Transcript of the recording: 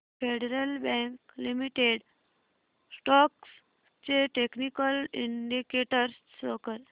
federal Bank limited stocks चे technical indicators show कर